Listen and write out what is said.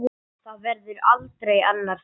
Það verður aldrei annar Thor.